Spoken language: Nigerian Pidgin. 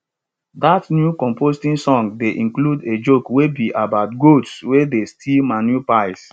dat new composting song dey include a joke wey be about goats wey dey steal manure piles